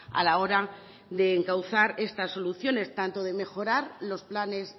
a la hora de encauzar esta solución tanto de mejorar los planes